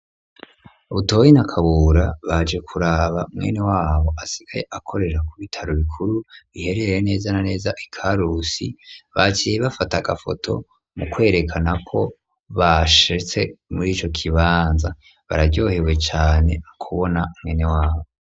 Butoyi na Kabura baje kuraba mwenewabo asigaye akorera ku bitaro bikuru biherereye neza na neza Ikarusi, baciye bafata agafoto mu kwerekana ko bashitse muri ico kibanza. Bararyohewe cane kubona mwenewabo.